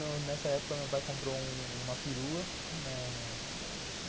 Nessa época meu pai comprou uma perua.